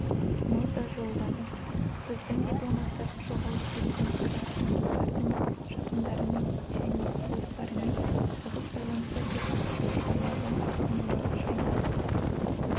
нота жолдады біздің дипломаттар жоғалып кеткен қазақстандықтардың жақындарымен және туыстарымен тығыз байланыста деп хабарладыәнуар жайнақов